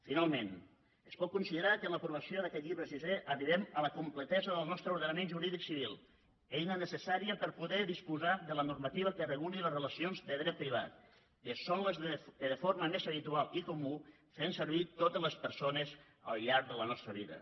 finalment es pot considerar que amb l’aprovació d’aquest llibre sisè arribem a la completesa del nostre ordenament jurídic civil eina necessària per poder disposar de la normativa que reguli les relacions de dret privat que són les que de forma més habitual i comuna fem servir totes les persones al llarg de la nostra vida